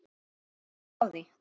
Ekki stendur á því.